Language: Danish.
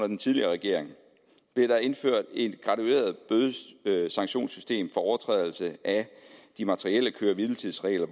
den tidligere regering blev der indført et gradueret bøde og sanktionssystem for overtrædelse af de materielle køre hvile tids regler